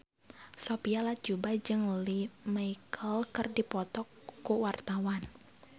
Sophia Latjuba jeung Lea Michele keur dipoto ku wartawan